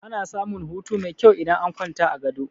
Ana samun hutu mai kyau idan an kwanta a gado.